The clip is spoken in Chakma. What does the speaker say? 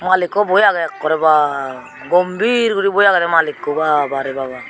malikku boi age ekkore baa gombhir guri boi agede malikku ba ba re baba.